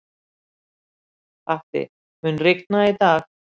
Patti, mun rigna í dag?